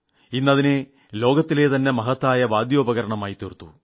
അതിനെ ലോകത്തിലെ തന്നെ മഹത്തായ വാദ്യോപകരണമായി തീർത്തു